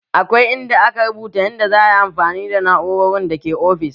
Akwai in da aka rubuta yanda za ayi amfani da na'urorin da ke ofis